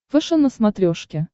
фэшен на смотрешке